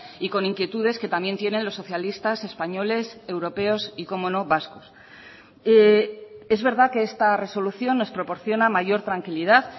y con inquietudes que también tienen los socialistas españoles europeos y cómo no vascos es verdad que esta resolución nos proporciona mayor tranquilidad